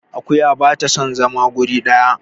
akuya ba ta son zama wuri daya